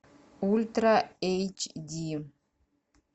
ультра эйч ди